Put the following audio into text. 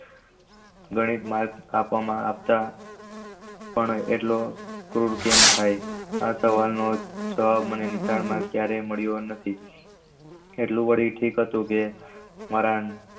ગણિત માં આપતા પણ એટલો ક્રૂર કેમ થઈ જવાબ મને નિશાળ માં ક્યારે મળિયો નથી એટલું વળી ઠીક હતું કે મારા